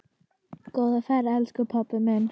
Góða ferð elsku pabbi minn.